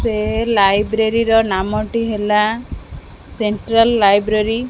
ସେ ଲାଇବ୍ରେରୀ ର ନାମ ଟି ହେଲା ସେଣ୍ଟ୍ରାଲ୍ ଲାଇବ୍ରେରୀ ।